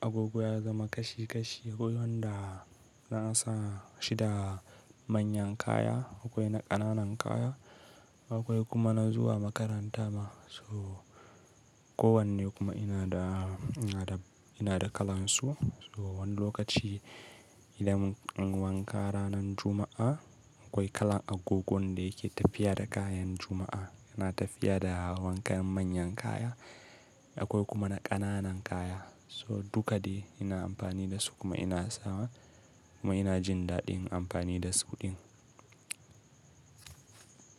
agogo ya zama kashi kashi, akwai wanda na sa shi da manyan kaya, akwai na ƙananan kaya, akwai kuma na zuwa makaranta ma so kowanne kuma yana da, yana da kalan su. So wani lokaci idan mun wanka ranar Juma'a, akwai kalan agogon da yake tafiya da kayan Juma'a, yana tafiya da wankan manyan kaya akwai kuma na ƙananan kaya. So dukka de ina amfani da su kuma ina sawa kuma ina jin daɗin amfani da su din.